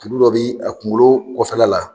Tulu dɔ bɛ a kunkolo kɔfɛla la